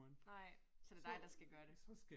Nej, så det dig, der skal gøre det